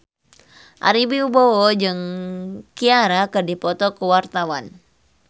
Ari Wibowo jeung Ciara keur dipoto ku wartawan